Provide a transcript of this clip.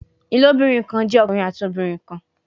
Ilobirin kan jẹ ọkunrin ati obinrin kan